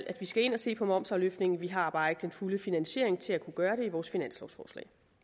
vi skal ind og se på momsafløftningen vi har bare ikke den fulde finansiering til at kunne gøre